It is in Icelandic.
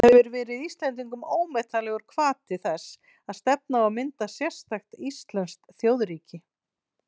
Það hefur verið Íslendingum ómetanlegur hvati þess að stefna á að mynda sérstakt íslenskt þjóðríki.